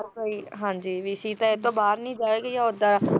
ਹਾਂਜੀ ਵੀ ਸੀਤਾ ਇਹਤੋਂ ਬਾਹਰ ਨੀ ਜਾਏਗੀ ਜਾਂ ਉਹਦਾ